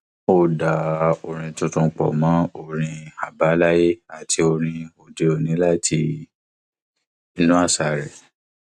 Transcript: ó dá orin tuntun pọ mọ orin àbáláyé àti orin òdeòní láti inú àṣà rẹ